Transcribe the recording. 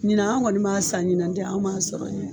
Ɲinan an kɔni man san ɲinan ni tɛ an kɔni man sɔrɔ de.